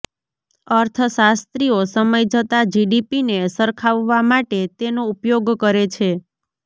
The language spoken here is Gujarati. અર્થશાસ્ત્રીઓ સમય જતાં જીડીપીને સરખાવવા માટે તેનો ઉપયોગ કરે છે